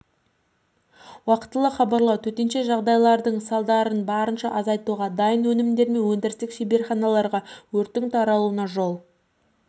уақтылы хабарлау төтенше жағдайдың салдарын барынша азайтуға дайын өнімдер мен өндірістік шеберханаларға өрттің таралуына жол